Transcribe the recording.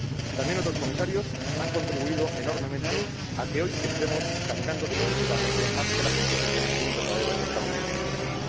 También otros comisarios han contribuido enormemente a que hoy estemos caminando definitivamente hacia la consecución de un verdadero mercado único digital.